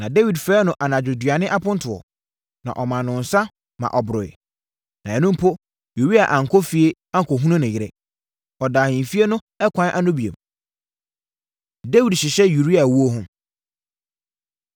Na Dawid frɛɛ no anadwoduane apontoɔ, na ɔmaa no nsã ma ɔboroeɛ. Na ɛno mpo, Uria ankɔ efie ankɔhunu ne yere. Ɔdaa ahemfie no ɛkwan ano bio. Dawid Hyehyɛ Uria Wuo Ho